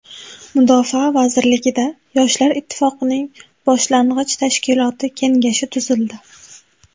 Mudofaa vazirligida Yoshlar ittifoqining boshlang‘ich tashkiloti kengashi tuzildi.